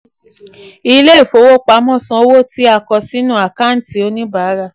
ilé ìfowopamọ́ san owó tí a kọ sínú àkántì oníbàárà.